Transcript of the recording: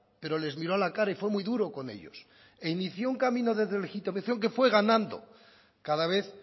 pero les miró a la cara y fue muy duro con ellos e inició un camino de deslegitimación que fue ganando cada vez